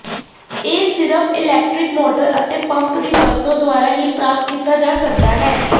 ਇਹ ਸਿਰਫ electric motor ਅਤੇ ਪੰਪ ਦੀ ਵਰਤੋ ਦੁਆਰਾ ਹੀ ਪ੍ਰਾਪਤ ਕੀਤਾ ਜਾ ਸਕਦਾ ਹੈ